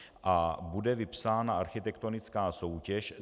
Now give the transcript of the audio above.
A bude vypsána architektonická soutěž.